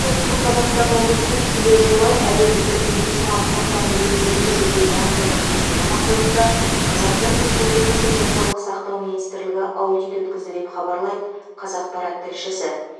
солтүстік қазақстан облысының келер жылы әлеуметтік медициналық сақтандыруды енгізуге дайындығын тексеру мақсатында қазақстан республикасы денсаулық сақтау министрлігі аудит өткізді деп хабарлайды қазақпарат тілшісі